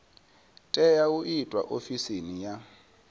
tea u itwa ofisini ya